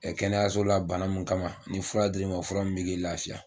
Ɛ kɛnɛyasola bana mun kama, ni fura dili ma o fura min bɛ kɛ lafiya.